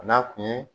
A n'a kun ye